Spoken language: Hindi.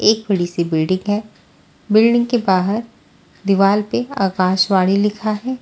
एक बड़ी सी बिल्डिंग है बिल्डिंग के बाहर दीवाल पे आकाशवाणी लिखा है।